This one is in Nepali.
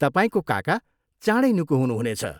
तपाईँको काका चाँडै निको हुनुहुनेछ।